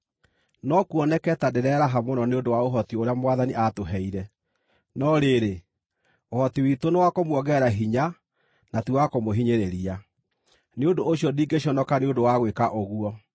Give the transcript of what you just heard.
No kuoneke ta ndĩreraha mũno nĩ ũndũ wa ũhoti ũrĩa Mwathani aatũheire. No rĩrĩ, ũhoti witũ nĩ wa kũmuongerera hinya na ti wa kũmũhinyĩrĩria. Nĩ ũndũ ũcio ndingĩconoka nĩ ũndũ wa gwĩka ũguo.